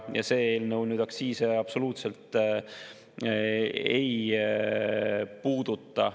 Ja see eelnõu aktsiise absoluutselt ei puuduta.